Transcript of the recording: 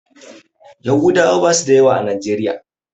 Yahudawa basu da yawa a najeriya.